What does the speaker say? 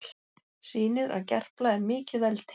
Sýnir að Gerpla er mikið veldi